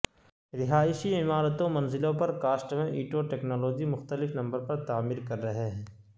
رہائشی عمارتوں منزلوں پر کاسٹ میں اینٹوں ٹیکنالوجی مختلف نمبر پر تعمیر کر رہے ہیں